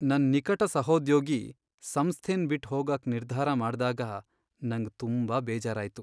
ನನ್ ನಿಕಟ ಸಹೋದ್ಯೋಗಿ ಸಂಸ್ಥೆನ್ ಬಿಟ್ ಹೋಗಾಕ್ ನಿರ್ಧಾರ ಮಾಡ್ದಾಗ ನಂಗ್ ತುಂಬಾ ಬೇಜಾರಾಯ್ತು.